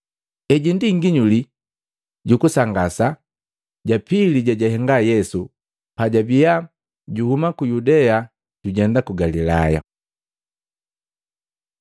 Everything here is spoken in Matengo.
Heji ndi nginyuli jukusangasa ja pili jejahenga Yesu pajabiya juhuma ku Yudea jujenda ku Galilaya.